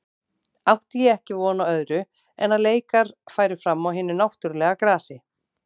Átti ég ekki von á öðru en að leikar færu fram á hinu náttúrulega grasi.